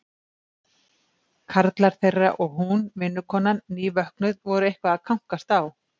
Karlar þeirra og hún, vinnukonan, nývöknuð, voru eitthvað að kankast á.